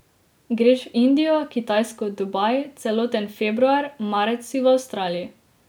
Greš v Indijo, Kitajsko, Dubaj, celoten februar, marec si v Avstraliji.